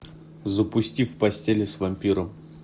запусти в постели с вампиром